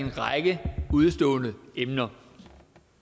udestående emner